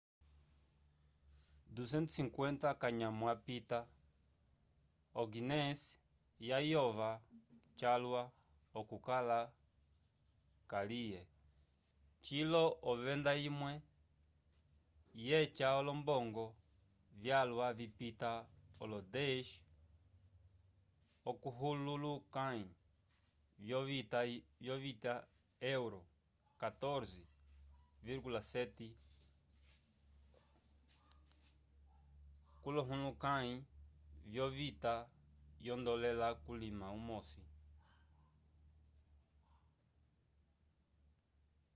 250 k’anyamo apita o-guiness yayova calwa okukala kalye cilo ovenda imwe yeca olombongo vyalwa vipita olo 10 k’olohulukãyi vyovita yo euro 14,7 k’olohulukãyi vyovita yondolale kulima umosi